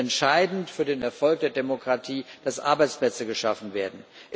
Es ist entscheidend für den Erfolg der Demokratie, dass Arbeitsplätze geschaffen werden.